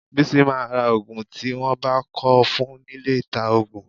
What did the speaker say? Bísí máa ra òògùn tí wọ́n bá kọ fún nílé ìta-òògùn.